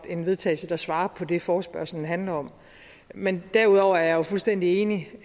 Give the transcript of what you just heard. en vedtagelse der svarer til det forespørgslen handler om men derudover er jeg jo fuldstændig enig